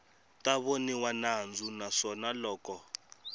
ta voniwa nandzu naswona loko